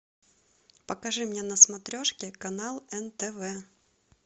покажи мне на смотрешке канал нтв